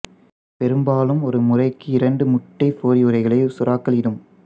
பெரும்பாலும் ஒரு முறைக்கு இரண்டு முட்டை பொதியுறைகளை சுறாக்கள் இடும்